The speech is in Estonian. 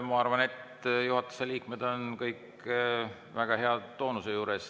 Ma arvan, et juhatuse liikmed on kõik väga heas toonuses.